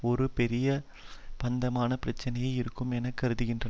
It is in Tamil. ஒரு பெரிய பந்தயமான பிரச்சனையாக இருக்கும் என கருதுகின்றன